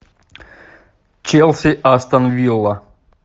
челси астон вилла